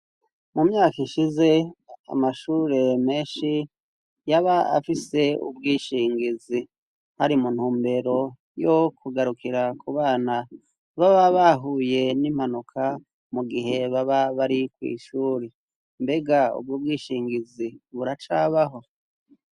Mu myaka ishize, amashure menshi yaba afise ubwishingizi hari mu ntumbero yo kugarukira kubana baba bahuye n'impanuka mu gihe baba bari kw'ishure. Mbega ubwo bwishingizi buracabaho?